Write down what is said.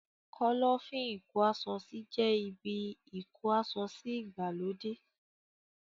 Kọ́lọ́fín ìkó aṣọ sí jẹ́ ibi ìkó asọsí ìgbàlódé.